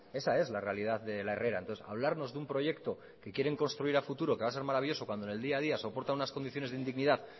esa es la realidad de la herrera entonces hablarnos de un proyecto que quieren construir a futuro que va a ser maravilloso cuando en el día a día soporta unas condiciones de indignidad